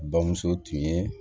Bamuso tun ye